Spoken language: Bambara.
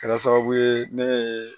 Kɛra sababu ye ne ye